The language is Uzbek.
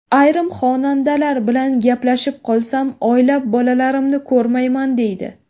Ayrim xonandalar bilan gaplashib qolsam, oylab bolalarimni ko‘rmayman, deydi.